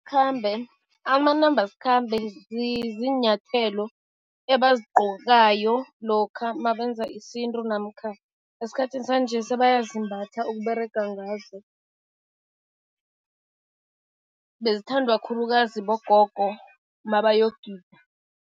Amanambasikhambe ziinyathelo ebazigqokayo lokha mabenza isintu namkha esikhathini sanje sebayazimbatha ukUberega ngazo, bezithandwa khulukazi bogogo mabayogida.